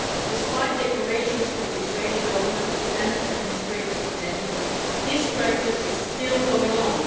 Despite declarations from the Israeli Government to end administrative detention, this practice is still going on.